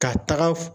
Ka taga